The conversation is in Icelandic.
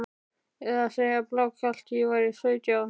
Eða segja blákalt að ég væri sautján?